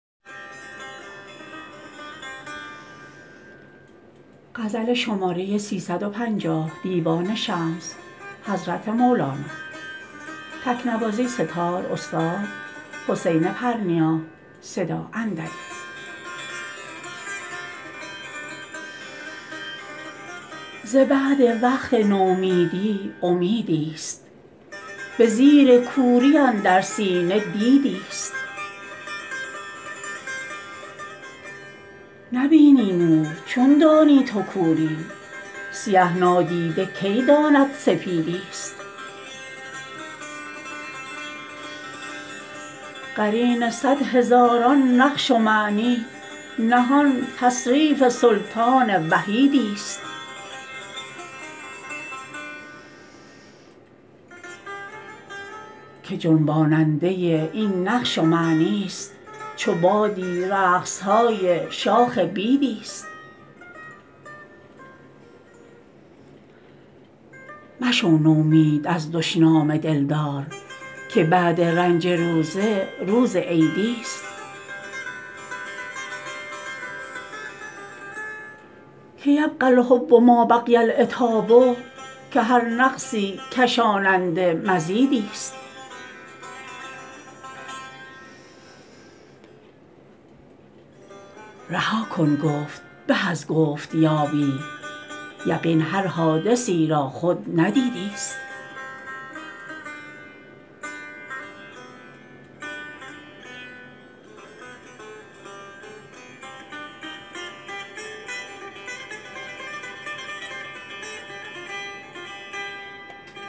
ز بعد وقت نومیدی امیدی ست به زیر کوری اندر سینه دیدی ست نبینی نور چون دانی تو کوری سیه نادیده کی داند سپیدی ست قرین صد هزاران نقش و معنی نهان تصریف سلطان وحیدی ست که جنباننده این نقش و معنی ست چو بادی رقص های شاخ بیدی ست مشو نومید از دشنام دلدار که بعد رنج روزه روز عیدی ست که یبقی الحب ما بقی العتاب که هر نقصی کشاننده مزیدی ست رها کن گفت به از گفت یابی یقین هر حادثی را خود ندیدی ست